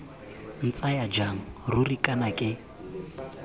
ntsaya jang ruri kana ke